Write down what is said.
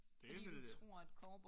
Det vil jeg